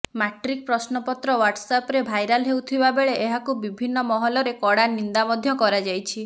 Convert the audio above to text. matric ପ୍ରଶ୍ନପତ୍ର ହ୍ବାଓ୍ସଆାପରେ viral ହେଉଥିବା ବେଳେ ଏହାକୁ ବିଭିନ୍ନ ମହଲରେ କଡା ନିନ୍ଦା ମଧ୍ୟ କରାଯାଇଛି